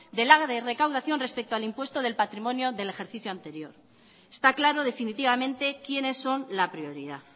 de la recaudación respecto al impuesto del patrimonio del ejercicio anterior está claro definitivamente quienes son la prioridad